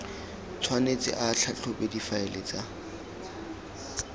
tshwanetse a tlhatlhobe difaele tsa